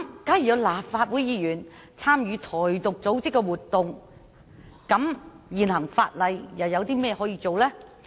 假如有立法會議員參與"台獨"組織的活動，現行法例可如何作出處理呢？